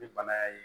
Ni bana y'a ye